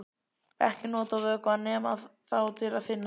Ekki nota vökvann nema þá til að þynna með.